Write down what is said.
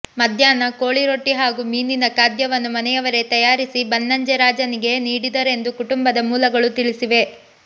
ಮಧ್ಯಾಹ್ನ ಕೋಳಿ ರೊಟ್ಟಿ ಹಾಗೂ ಮೀನಿನ ಖಾದ್ಯವನ್ನು ಮನೆಯವರೇ ತಯಾರಿಸಿ ಬನ್ನಂಜೆ ರಾಜನಿಗೆ ನೀಡಿದರೆಂದು ಕುಟುಂಬದ ಮೂಲಗಳು ತಿಳಿಸಿವೆ